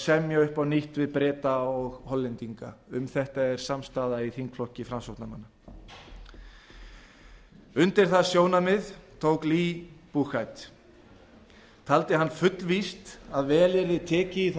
semja upp á nýtt við breta og hollendinga um þetta er samstaða í þingflokki framsóknarmanna undir það sjónarmið tók lee buchheit taldi hann fullvíst að vel yrði tekið í þá